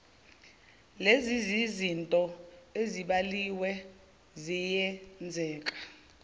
lenzizinto ezibaliwe ziyenzeka